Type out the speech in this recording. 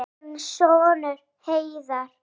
Þinn sonur, Heiðar.